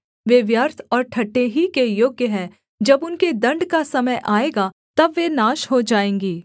वे व्यर्थ और ठट्ठे ही के योग्य हैं जब उनके दण्ड का समय आएगा तब वे नाश हो जाएँगीं